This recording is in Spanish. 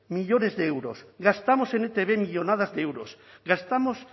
millónes de euros gastamos en etb millónadas de euros gastamos